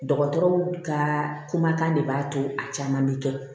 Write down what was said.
Dɔgɔtɔrɔw ka kumakan de b'a to a caman bɛ kɛ